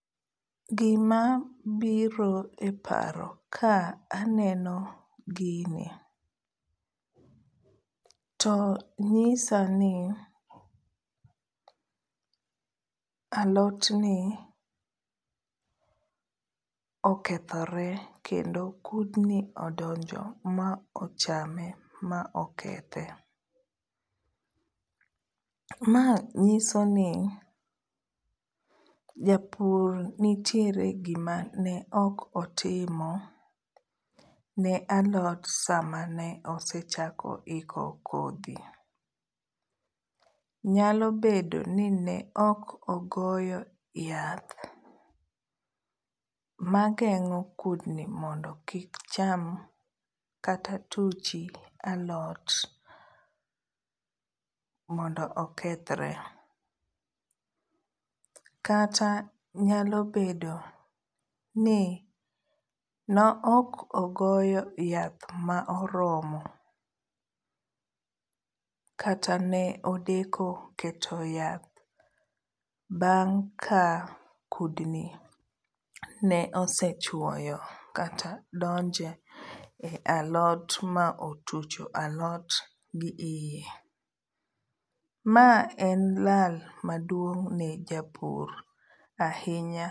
Gima biro e paro ka aneno gini to nyisa ni alot ni okethore kendo kudni odonjo ma ochame ma okethe. Ma nyiso ni japur nitiere gima ne ok otimo ne alot sama ne osechako iko kodhi. Nyalo bedo ni ne ok ogoyo yath ma geng'o kudni mondo kik cham kata tuchi alot mondo okethre. Kata nyalo bedo ni ne ok ogoyo yath ma oromo kata ne odeko keto yath bang' ka kudni ne osechwoyo kata donje alot ma otucho alot gi iye. Ma en lal maduong' ne japur ahinya.